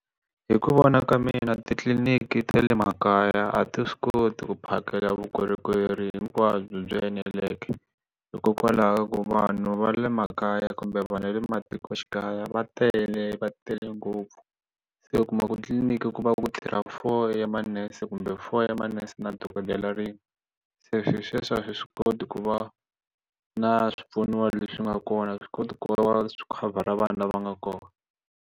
Hi ku vona ka mina titliliniki ta le makaya a ti swi koti ku phakela vukorhokeri hinkwabyo byi eneleke hikokwalaho ku vanhu va le makaya kumbe vanhu va le matikoxikaya va tele va tele ngopfu se u kuma ku tliliniki ku va ku tirha for manese kumbe for manese na dokodela rin'we se sweswo a swi swi koti ku va na swipfuno leswi nga kona swi koti ku va khavhara vanhu lava nga kona.